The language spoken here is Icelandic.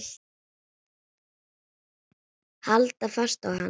Halda fast í hann!